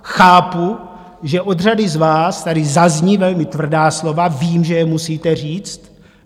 Chápu, že od řady z vás tady zazní velmi tvrdá slova, vím, že je musíte říct.